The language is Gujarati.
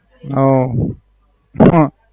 હા.